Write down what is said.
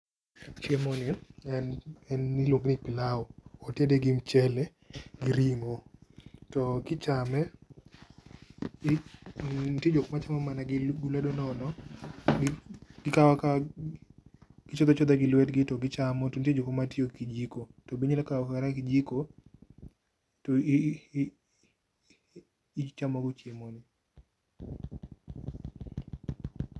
Chiemo ni en ,en iluonge ni pilau. Otede gi mchele gi ringo to kichame ,nitie jok machame mana gilwedo nono, gikaw akawa, gichodho achodha gi lwetgi to gichamo to nitie jokma tiyo gi kijiko, to be inyalo kao kata gi kijiko to ichamo go chiemo no